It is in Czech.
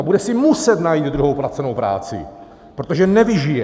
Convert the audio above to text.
A bude si muset najít druhou placenou práci, protože nevyžije.